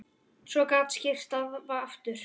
Svo gat syrt að aftur.